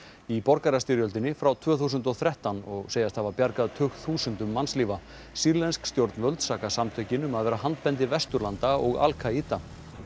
í borgarastyrjöldinni frá tvö þúsund og þrettán og segjast hafa bjargað tugþúsundum mannslífa sýrlensk stjórnvöld saka samtökin um að vera handbendi Vesturlanda og Al Kaída